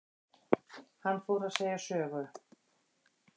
Hann fór að segja sögu.